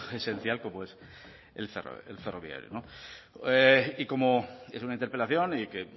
esencial como es el ferroviario y como es una interpelación y que